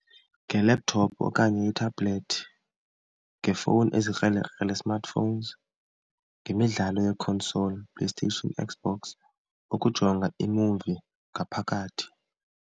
Nge-laptop okanye ithabhulethi, ngeefowuni ezikrelekrele smartphones, ngemidlalo yekhonsoli, PlayStation, Xbox, ukujonga imuvi ngaphakathi.